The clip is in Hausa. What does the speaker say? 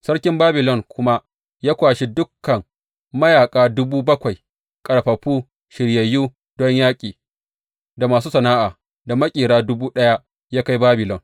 Sarkin Babilon kuma ya kwashe dukan mayaƙa dubu bakwai, ƙarfafu, shiryayyu don yaƙi, da masu sana’a, da maƙera dubu ɗaya, ya kai Babilon.